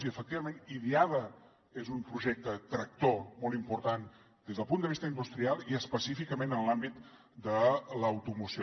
i efectivament idiada és un projecte tractor molt important des del punt de vista industrial i específicament en l’àmbit de l’automoció